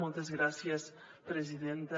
moltes gràcies presidenta